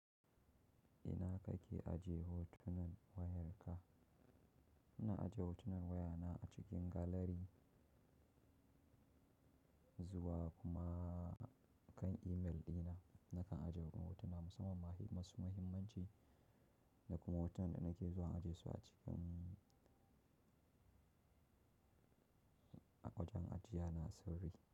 Ina kake aje hotunan wayarka? Ina ajiye hotunan wayana a cikin galari zuwa kuma kan imel ɗina. Nakan ajiye wasu hotuna musamman masu muhimmanci da kuma hoton da nake zuwa ajiye su a cikin a wajen ajiya na sirri.